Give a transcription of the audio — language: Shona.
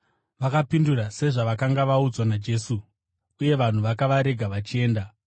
Vakapindura sezvavakanga vaudzwa naJesu, uye vanhu vakavarega vachienda.